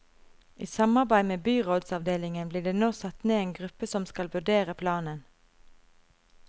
I samarbeid med byrådsavdelingen blir det nå satt ned en gruppe som skal vurdere planen.